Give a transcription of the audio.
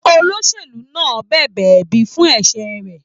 Olóṣèlú náà bẹbẹ ẹbi fún ẹsẹ rẹ.